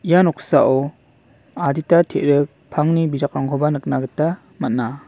ia noksao adita terik pangni bijakrangkoba nikna gita man·a.